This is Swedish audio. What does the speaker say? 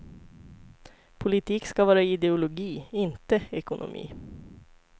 Politik ska vara ideologi, inte ekonomi.